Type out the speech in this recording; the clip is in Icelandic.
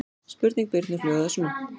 Spurning Birnu hljóðaði svona: